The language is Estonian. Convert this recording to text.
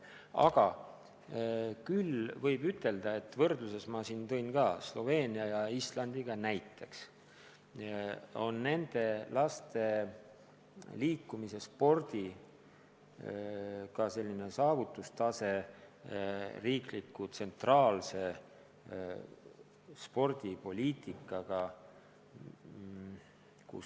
Aga ma tõin võrdluses Sloveenia ja Islandiga näiteks nende laste liikumise ja spordi saavutustaseme, mis on riikliku tsentraalse spordipoliitika tulemus.